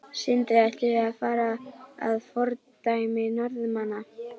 Sindri: Ættum við að fara að fordæmi Norðmanna?